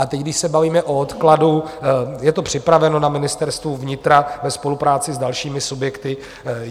A teď, když se bavíme o odkladu, je to připraveno na Ministerstvu vnitra ve spolupráci s dalšími subjekty.